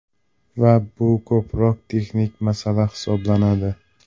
Va bu ko‘proq texnik masala hisoblanadi.